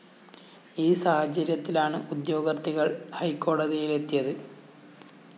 ഈ സാഹചര്യത്തിലാണ് ഉദ്യോഗാര്‍ത്ഥികള്‍ ഹൈക്കോടതിയിലെത്തിയത്